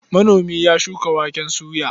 Manomin ya ya shuka waken soya.